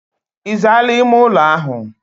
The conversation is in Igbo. Izaala ime ulo ahu?